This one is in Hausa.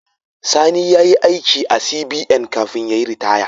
Sani yayi aiki a CBN kafin yayi ritaya